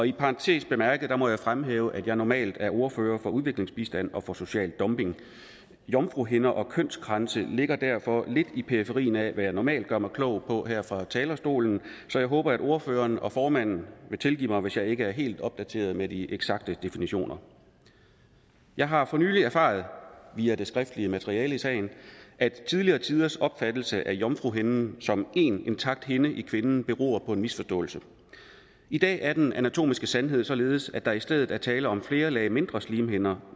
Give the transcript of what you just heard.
i parentes bemærket må jeg fremhæve at jeg normalt er ordfører for udviklingsbistand og for social dumping jomfruhinder og kønskranse ligger derfor lidt i periferien af hvad jeg normalt gør mig klog på her fra talerstolen så jeg håber at ordførerne og formanden vil tilgive mig hvis jeg ikke er helt opdateret med de eksakte definitioner jeg har for nylig erfaret via det skriftlige materiale i sagen at tidligere tiders opfattelse af jomfruhinden som én intakt hinde i kvinden beror på en misforståelse i dag er den anatomiske sandhed således at der i stedet er tale om flere lag mindre slimhinder